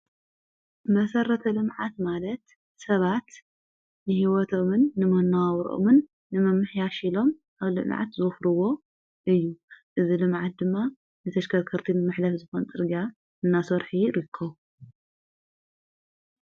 መሠረተ ልምዓት ማለት ሰባት ንሂይወቶምን ንመነባብሮኦምን ንምምሕያሽ ኢሎም ኣብ ልምዓት ዝዋፈርዎ እዩ፡፡ እዚ ልምዓት ድማ ንተሽከርከርቲን መሐለፊ ዝኾን ፅርግያ እናሶርሑ ይርከቡ፡፡